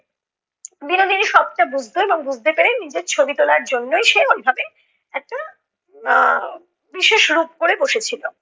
বিনোদিনী সবটা বুজতো এবং বুজতে পেরে নিজের ছবি তোলার জন্যই সে ওইভাবে একটা আহ বিশেষ রূপ করে বসেছিলো।